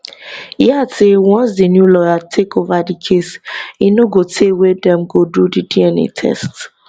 e add say once di new lawyer take ova di case e no go tey wey dem go do di dna test